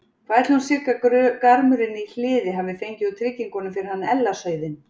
Hvað ætli hún Sigga garmurinn í Hliði hafi fengið úr tryggingunum fyrir hann Ella sauðinn?